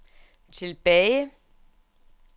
tilbage